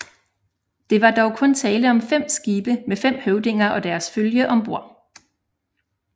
Det var dog kun tale om fem skibe med fem høvdinger og deres følge om bord